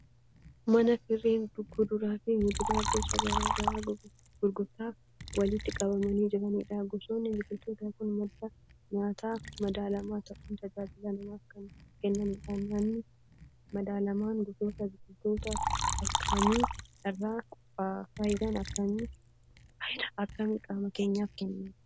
Mana firiin kuduraa fi muduraa gosa garaa garaa gurgurtaaf walitti qabamanii jiranidha. Gosoonni biqiltootaa kun madda nyaata madaalamaa ta'uun tajaajila namaaf kan kennanidha. Nyaanni madaalamaan gosoota biqiltootaa akkamii irraa qophaa'a? Faayidaa akkamii qaama keenyaaf kenna?